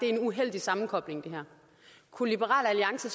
er en uheldig sammekobling kunne liberal alliance